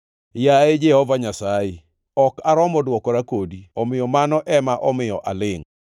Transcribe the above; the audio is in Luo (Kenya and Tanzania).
“Yaye Jehova Nyasaye, ok aromo dwokora kodi omiyo mano ema omiyo alingʼ.